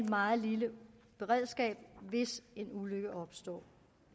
meget lille beredskab der hvis en ulykke opstår